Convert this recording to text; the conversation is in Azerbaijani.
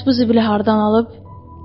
Bəs bu zibili hardan alıb?